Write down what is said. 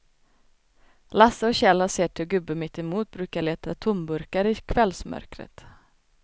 Lasse och Kjell har sett hur gubben mittemot brukar leta tomburkar i kvällsmörkret.